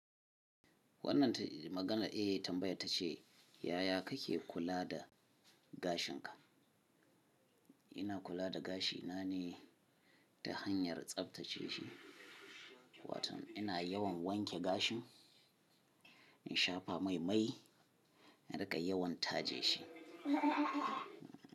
Wannan maganar e tambaya ta ce, ya ya kake kula da gashin ka? Ina kula da gashi na ne ta hanyar tsaftace shi. Watan ina yawan wanke gashin, in shafa mai-mai, in rika yawan taje shi.